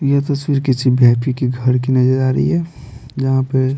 यह तस्वीर किसी वी_आई_पी के घर की नजर आ रही है जहाँ पे --